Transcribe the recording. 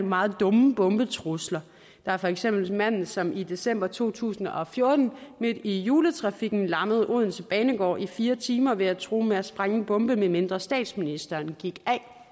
meget dumme bombetrusler der er for eksempel manden som i december to tusind og fjorten midt i juletrafikken lammede odense banegård i fire timer ved at true med at sprænge en bombe medmindre statsministeren gik